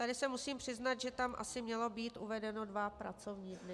Tady se musím přiznat, že tam asi mělo být uvedeno dva pracovní dny.